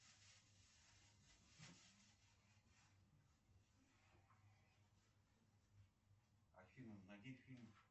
афина найди фильм